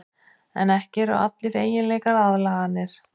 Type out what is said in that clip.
En ekki eru allir eiginleikar aðlaganir.